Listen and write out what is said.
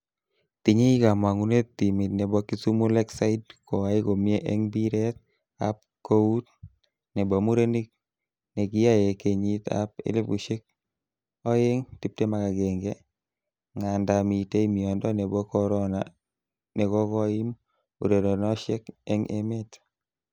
Tinye kama'ngunet timit nebo Kisumu Lakeside koai komnye eng mbiret ab kout nebo murenik nekiae kenyit ab 2021, ngandaa mitei miondo nebo corona nekokoim ureronoshek eng emet.